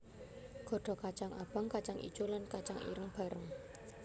Godhog kacang abang kacang ijo lan kacang ireng bareng